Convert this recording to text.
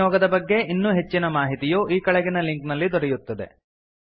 ಈ ನಿಯೋಗದ ಬಗ್ಗೆ ಇನ್ನೂ ಹೆಚ್ಚಿನ ಮಾಹಿತಿಯು ಕೆಳಗಿನ ಲಿಂಕ್ ನಲ್ಲಿ ದೊರೆಯುತ್ತದೆ